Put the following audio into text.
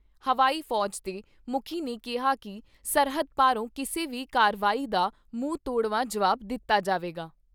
ਹਵਾਈ ਫੌਜ ਦੇ ਮੁੱਖੀ ਨੇ ਕਿਹਾ ਕਿ ਸਰਹੱਦ ਪਾਰੋਂ ਕਿਸੇ ਵੀ ਕਾਰਵਾਈ ਦਾ ਮੂੰਹ ਤੋੜਵਾਂ ਜੁਆਬ ਦਿੱਤਾ ਜਾਵੇਗਾ।